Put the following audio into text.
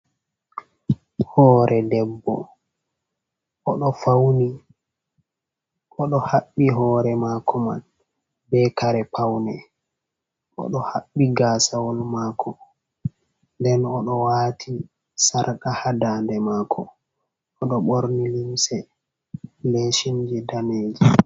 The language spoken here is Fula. Hore debbo, oɗo fauni, oɗo haɓɓi hore mako man be kare paune, oɗo haɓɓi gasawol mako nden oɗo wati sarka ha dande mako, oɗo ɓorni limse lesinje daneje.